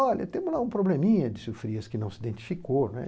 Olha, temos lá um probleminha, disse o Frias, que não se identificou, né.